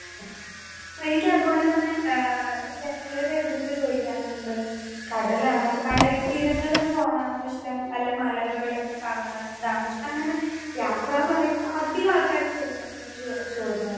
Speaker 2 ആ എനിക്കത് പോലെ തന്നെ ആ ചേലോര് എന്റടുത്ത് ചോദിക്കാറിണ്ട് കടലാണോ കടൽ തീരങ്ങളിൽ പോകാനാണോ ഇഷ്ടം അല്ല മലകളൊക്കെ കാണണതാണോ ഇഷ്ടം അങ്ങനെ യാത്രാന്ന് പറയുമ്പൊ അധികാൾക്കാരും ചോദിക്ക്ണൊരു ചോ ചോദ്യാണ്.